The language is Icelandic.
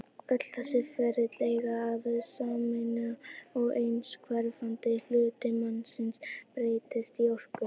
Öll þessi ferli eiga það sameiginlegt að aðeins hverfandi hluti massans breytist í orku.